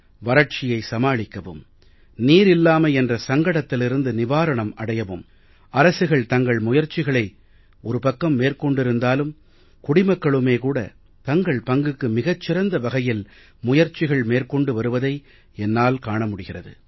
வறட்சியை சமாளிக்கவும் நீர் இல்லாமை என்ற சங்கடத்திலிருந்து நிவாரணம் அடையவும் அரசுகள் தங்கள் முயற்சிகளை ஒரு பக்கம் மேற்கொண்டிருந்தாலும் குடிமக்களுமே கூட தங்கள் பங்குக்கு மிகச் சிறந்த வகையில் முயற்சிகள் மேற்கொண்டு வருவதை என்னால் காண முடிகிறது